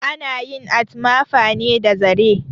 Ana yin atmafa ne da zare